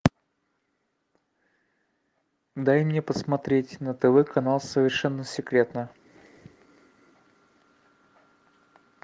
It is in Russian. дай мне посмотреть на тв канал совершенно секретно